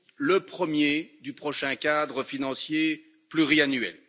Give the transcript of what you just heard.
le premier du prochain cadre financier pluriannuel.